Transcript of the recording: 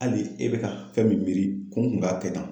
Hali e bɛ ka fɛn min miiri ko n kun k'a kɛ tan